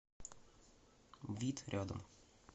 вит рядом